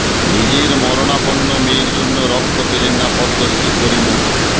নিজের মরণাপন্ন মেয়ের জন্য রক্ত পেলেন না পদ্মশ্রী করিমুল